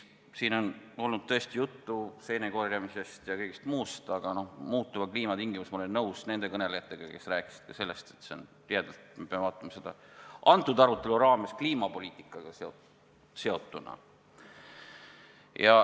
Siin on olnud juttu seenekorjamisest ja kõigest muust, aga mis puutub muutuva kliima tingimustesse, siis ma olen nõus kõnelejatega, kes rääkisid sellest, kui tihedalt me peame metsapoliitikat arutama kliimapoliitikaga seotuna.